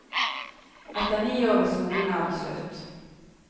Etter ni år ved skolen er det slutt.